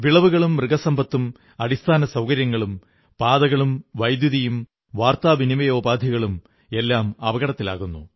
വിളകളും മൃഗസമ്പത്തും അടിസ്ഥാന സൌകര്യങ്ങളും പാതകളും വൈദ്യുതിയും വാർത്താവിനിമയോപാധികളും എല്ലാം അപകടത്തിലാകുന്നു